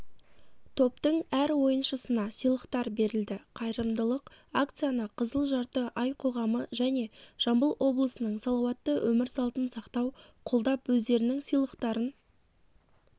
топтың әр ойыншысына сыйлықтар берілді қайырылымдық акцияны қызыл жарты ай қоғамы және жамбыл облысының салауатты өмір салтын сақтау қолдап өздерінің сыйлықтарын